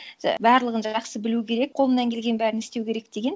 барлығын жақсы білу керек қолымнан келген бәрін істеу керек деген